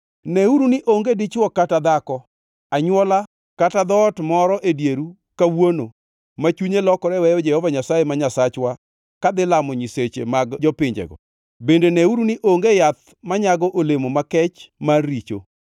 Neuru ni onge dichwo kata dhako, anywola kata dhoot moro e dieru kawuono ma chunye lokore weyo Jehova Nyasaye ma Nyasachwa kadhi lamo nyiseche mag jopinjego; bende neuru ni onge yath manyago olemo makech mar richo.